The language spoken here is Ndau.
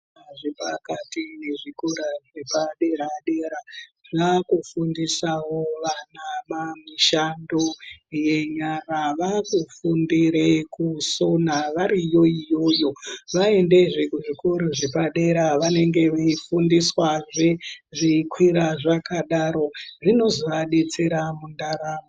Zvikora zvepakati nezvikora zvepadera dera zvakufundisawo vana mishando yenyara. Vakufindire kusona variyo iyoyo. Vaendezve kuzvikora zvepadera vanenge veifundiswazve zveikwira zvakadaro, zvinozoadetsera mundaramo.